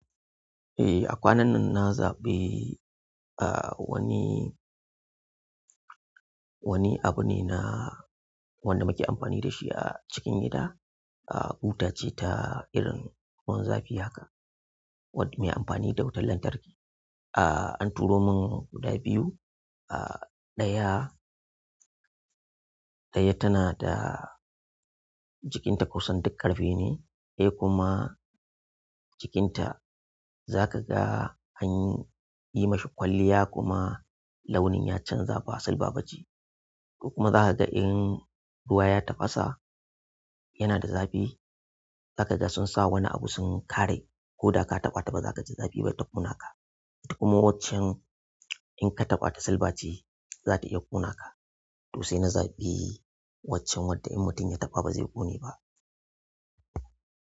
Eh, a kwanan nan na zabi ah wani. Wani abu ne na wanda muke amfani da shi a cikin gida. Ah buta ce ta irin ruwan zafi haka, wadda mai amfani da wutar lantarki. Ah an turo mun guda biyu. Ah ɗaya, ɗaya tana da jikinta kusan duk ƙarfe ne ɗaya kuma jikinta za ka ga an yi ma shi kwalliya kuma launin ya canza ba silba ba ce. Kuma za ka ga in ruwa ya tafasa yana da zafi. Za ka ga sun sa wani abu sun kare. Ko da ka taɓa ta ba za ka ji zafi ba ta ƙona ka. Kuma waccen inkataɓata silba ce zata iya ƙonaka to sai na zabi waccan wadda in mutum ya taɓa ba zai ƙone ba.